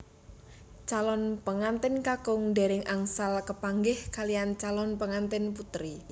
Calon pengantèn kakung dèrèng angsal kepanggih kaliyan calon pengantèn putri